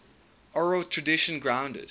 oral tradition grounded